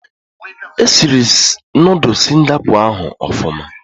Esiri Noodul Singapọ ahụ ọfụma